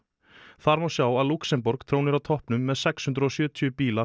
þar má sjá að Lúxemborg trónir á toppnum með sex hundruð og sjötíu bíla